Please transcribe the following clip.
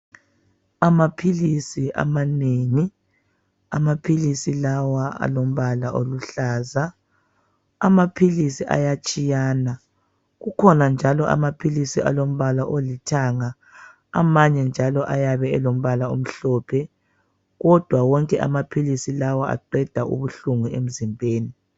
Amaphilisi amanengi. Amaphilisi lawa alombala oluhlaza. Amaphilisi ayatshiyana. Kukhona njalo amaphilisi alombala olithanga amanye anjalo ayabe elombala omhlophe. Kodwa wonke amaphilisi lawa aqeda ubuhlungu emzimbeni.